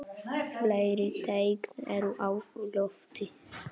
Fleiri teikn eru á lofti.